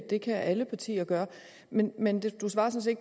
det kan alle partier gøre men men du svarede